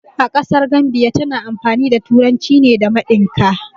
A ƙasar Gambiya tana amfani da turanci ne da mandika